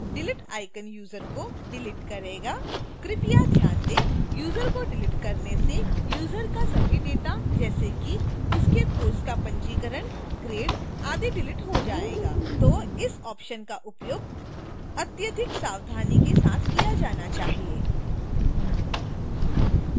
delete icon user को delete करेगा